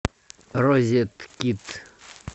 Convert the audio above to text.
розеткед